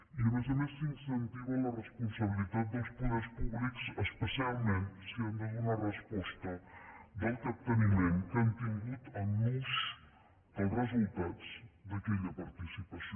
i a més a més s’incentiva la responsabilitat dels poders públics especialment si han de donar resposta del capteniment que han tingut en l’ús dels resultats d’aquella participació